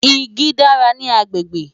Igi dára ní agbègbè.